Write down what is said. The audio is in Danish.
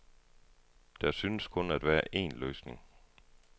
Der synes kun at være en løsning.